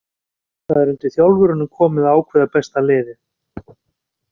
Það er undir þjálfurunum komið að ákveða besta liðið.